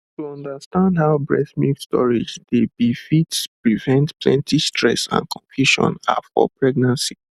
to understand how breast milk storage dey be fiit prevent plenty stress and confusion ah for pregnancy